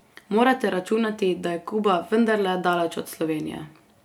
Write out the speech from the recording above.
Morate računati, da je Kuba vendarle daleč od Slovenije.